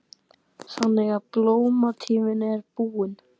Þannig að blómatíminn er búinn?